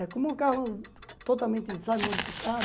É como um carro totalmente, sabe, modificado.